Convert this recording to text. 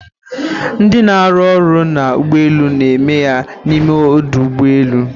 ndi na-arụ ọrụ na ụgbọelu na eme ya n’ime ọdụ ụgbọ elu